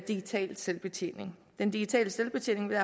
digital selvbetjening den digitale selvbetjening vil